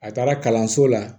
A taara kalanso la